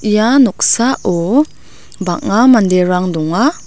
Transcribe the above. ia noksao bang·a manderang donga.